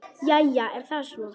Jæja, er það svo?